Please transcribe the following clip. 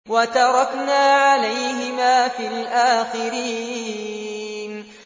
وَتَرَكْنَا عَلَيْهِمَا فِي الْآخِرِينَ